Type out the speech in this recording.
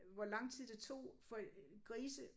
Hvor lang tid det tog for grise